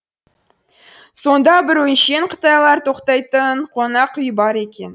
сонда бір өңшең қытайлар тоқтайтын қонақ үй бар екен